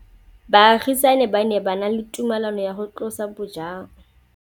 Baagisani ba ne ba na le tumalanô ya go tlosa bojang.